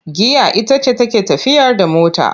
Giya ita ce take tafiyar da mota,